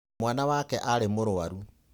Mwana wake arĩ mũrũaru.